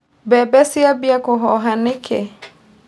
Mbembe ciambia kũhoha nĩkĩ.